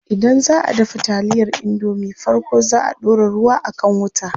Idan zaʼa dafa taliyar indomie farko zaa a ɗora ruwa a kan wuta.